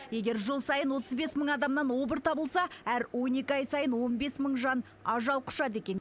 егер жыл сайын отыз бес мың адамнан обыр табылса әр он екі ай сайын он бес мың жан ажал құшады екен